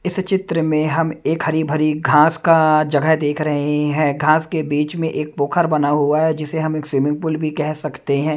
इस चित्र में हम एक हरी भरी घास का जगह देख रहे हैं घास के बीच में एक पोखर बना हुआ है जिसे हम एक स्विमिंग पूल भी कह सकते हैं।